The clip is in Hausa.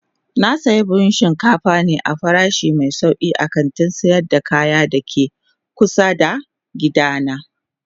Na sayi buhun shinkafa ne a farashi mai sauki a kantin sayar da kaya da ke kusa da gidana.